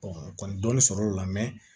kɔni dɔnni sɔrɔ o la